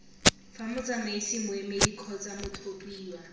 fa motsamaisi moemedi kgotsa mothapiwa